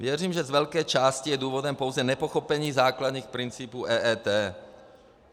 Věřím, že z velké části je důvodem pouze nepochopení základních principů EET.